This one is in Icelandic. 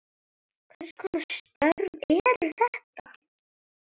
Hvers konar störf eru þetta?